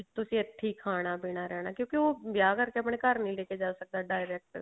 ਤੁਸੀਂ ਇੱਥੀ ਖਾਣਾ ਪੀਣਾ ਰਹਿਣਾ ਕਿਉਂਕੀ ਉਹ ਵਿਆਹ ਕਰਕੇ ਆਪਣੇ ਘਰ ਨੀ ਲੈਕੇ ਜਾ ਸਕਦਾ direct